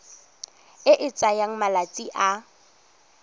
e e tsayang malatsi a